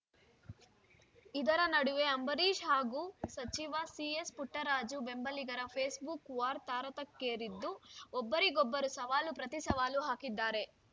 ಇದರ ನಡುವೆ ಅಂಬರೀಷ್‌ ಹಾಗೂ ಸಚಿವ ಸಿಎಸ್‌ಪುಟ್ಟರಾಜು ಬೆಂಬಲಿಗರ ಫೇಸ್‌ಬುಕ್‌ ವಾರ್‌ ತಾರಕಕ್ಕೇರಿದ್ದು ಒಬ್ಬರಿಗೊಬ್ಬರು ಸವಾಲು ಪ್ರತಿಸವಾಲು ಹಾಕಿದ್ದಾರೆ